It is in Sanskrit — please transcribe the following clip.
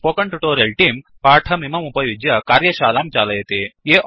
स्पोकेन ट्यूटोरियल् तेऽं पाठमिदमुपयुज्य कार्यशालां चालयति